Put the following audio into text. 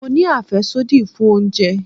Mo ní àfẹ́sódì fún oúnjẹ.